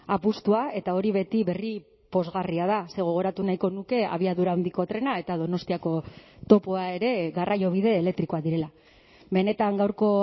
apustua eta hori beti berri pozgarria da ze gogoratu nahiko nuke abiadura handiko trena eta donostiako topoa ere garraiobide elektrikoak direla benetan gaurko